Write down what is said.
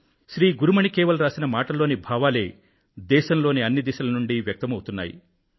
శ్రీ గురుమణి కేవల్ రాసిన మాటల్లోని భావాలే దేశంలోని అన్ని దిశల నుండీ వ్యక్తమవుతున్నాయి